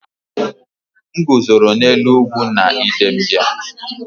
M guzoro n’elu ugwu na Idembia